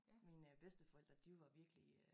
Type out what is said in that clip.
Mine bedsteforældre de var virkelig øh